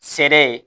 Sɛ ye